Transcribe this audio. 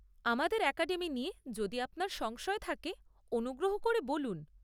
আমাদের অ্যাকাডেমি নিয়ে যদি আপনার সংশয় থাকে, অনুগ্রহ করে বলুন।